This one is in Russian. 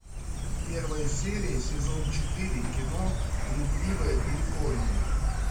первая серия сезон четыре кино блудливая калифорния